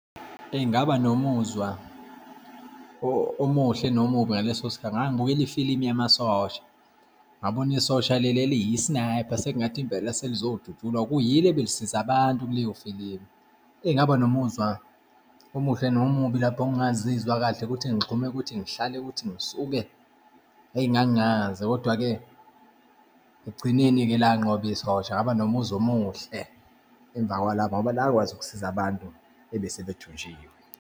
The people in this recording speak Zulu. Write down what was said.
Eyi, ngaba nomuzwa omuhle nomubi ngaleso sikhathi. Ngangibukele ifilimu yamasosha, ngabona isosha leli eliyi-sniper, sekungathi impela selizodutshulwa, kuyilo ebelisiza abantu kuleyo filimu. Eyi, ngaba nomuzwa omuhle nomubi, lapho ngingazizwa kahle ukuthi ngigxume, ukuthi ngihlale, ukuthi ngisuke, eyi ngangingazi. Kodwa-ke ekugcineni-ke lanqoba isosha, ngaba nomuzwa omuhle emva kwalapho ngoba lakwazi ukusiza abantu ebese bethunjiwe.